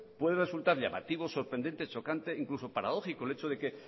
puede resultar llamativo sorprendente chocante e incluso paradójico el hecho de que